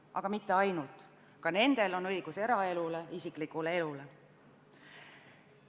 Aga mitte ainult, ka nendel on õigus eraelule, isiklikule elule.